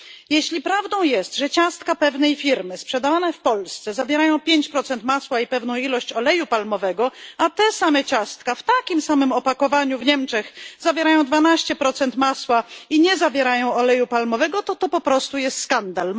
Jeśli prawdą jest, że ciastka pewnej firmy sprzedawane w Polsce zawierają 5 masła i pewną ilość oleju palmowego, a te same ciastka w takim samym opakowaniu w Niemczech zawierają 12 masła i nie zawierają oleju palmowego, to jest to po prostu skandal.